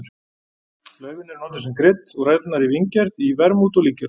Laufin eru notuð sem krydd og ræturnar í víngerð í vermút og í líkjöra.